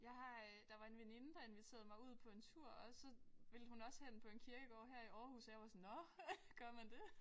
Jeg har øh der var en veninde der inviterede mig ud på en tur også så ville hun også hen på en kirkegård her i Aarhus og jeg var sådan nåh gør man det